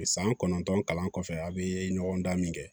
San kɔnɔntɔn kalan kɔfɛ a' bee ɲɔgɔndɛmɛn kɛ